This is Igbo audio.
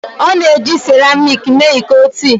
A na-eji seramiiki mee iko tii